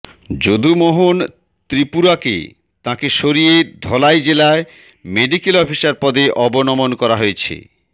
যদুমোহন ত্রিপুরাকে তাঁকে সরিয়ে ধলাই জেলায় মেডিক্যাল অফিসার পদে অবনমন করা হয়েছে